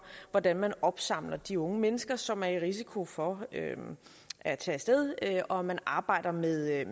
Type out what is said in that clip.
hvordan man opsamler de unge mennesker som er i risiko for at tage af sted og at man arbejder med reel